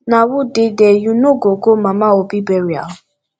na who dey there you no go go mama obi burial